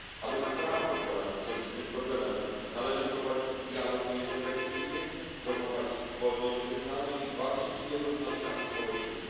Aby naprawdę poradzić sobie z tym problemem, należy prowadzić dialog międzyreligijny, promować wolność wyznania i walczyć z nierównościami społecznymi.